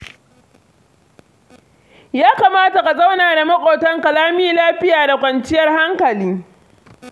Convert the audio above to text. Ya kamata ka zauna da maƙotanka lami lafiya da kwanciyar hankali.